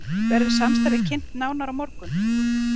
Verður samstarfið kynnt nánar á morgun